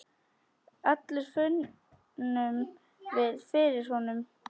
allir finnum við fyrir honum.